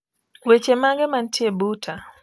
Wechemage mantie buta